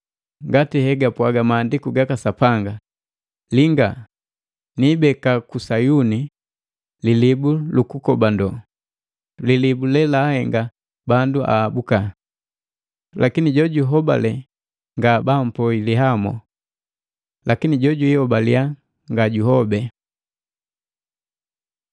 ngati hegapwaga mahandiku gaka Sapanga, “Linga, niibeka ku Sayuni lilibu lukukobando, Lilibu lelaahenga bandu ahabuka lakini jojuhobale nga bampoi lihamo. Lakini jojwii hobalia ngajuhobe.”